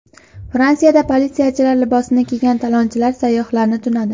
Fransiyada politsiyachilar libosini kiygan talonchilar sayyohlarni tunadi.